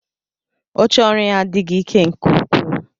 Oche ọrụ ya adịghị ike nke ukwuu